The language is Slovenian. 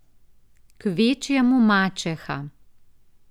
Kvečjemu mačeha.